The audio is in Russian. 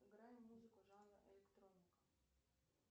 играй музыку жанра электроника